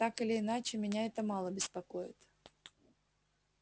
так или иначе меня это мало беспокоит